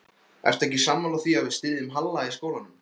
Ertu ekki sammála því að við styðjum Halla í skólanum?